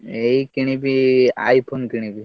ଏଇ କିଣିବି iPhone କିଣିବି।